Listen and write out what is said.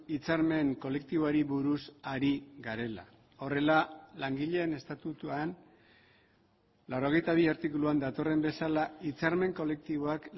hitzarmen kolektiboari buruz ari garela horrela langileen estatutuan laurogeita bi artikuluan datorren bezala hitzarmen kolektiboak